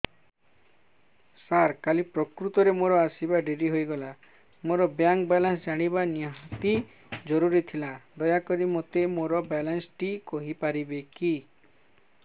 ସାର କାଲି ପ୍ରକୃତରେ ମୋର ଆସିବା ଡେରି ହେଇଗଲା ମୋର ବ୍ୟାଙ୍କ ବାଲାନ୍ସ ଜାଣିବା ନିହାତି ଜରୁରୀ ଥିଲା ଦୟାକରି ମୋତେ ମୋର ବାଲାନ୍ସ ଟି କହିପାରିବେକି